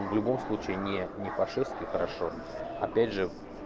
в любом случае не не по шерсти хорошо опять же